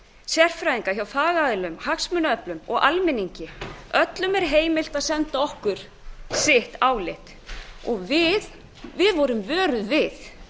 sérfræðinga hjá fagaðilum hagsmunaöflum og almenningi öllum er heimilt að senda okkur sitt álit og við vorum vöruð við